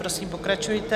Prosím, pokračujte.